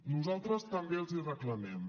nosaltres també els hi reclamem